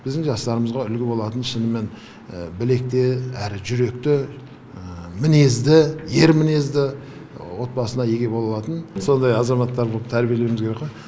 біздің жастарымызға үлгі болатын шынымен білекті әрі жүректі мінезді ер мінезді отбасына еге бола алатын сондай азаматтар боп тәрбиелеуіміз керек қо